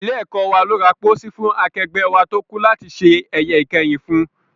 Ilé-ẹ̀kọ́ wa ló ra póósí fún akẹgbẹ́ wa tó kú láti ṣe ẹ̀yẹ ìkẹyìn fún